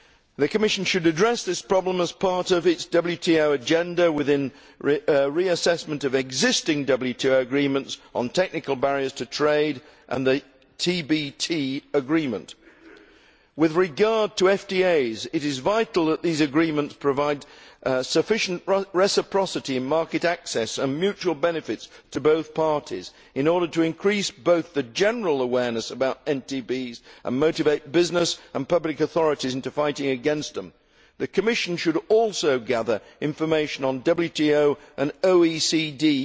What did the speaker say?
The Commission should address the NTB problem as part of its WTO agenda, within reassessment of existing WTO agreements on technical barriers to trade and the TBT agreement. With regard to free trade agreements, it is vital that these agreements provide sufficient reciprocity and market access and mutual benefits to both parties, in order to increase both the general awareness about NTBs and motivate business and public authorities into fighting against them. The Commission should also gather information on the WTO and OECD